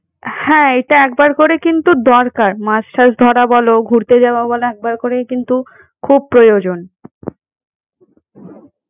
হ্যাঁ এইটা একবার করে কিন্তু দরকার মাছ-টাছ ধরা বলো ঘুরতে যাওয়া বলো একবার করেই কিন্তু খুব প্রয়োজন।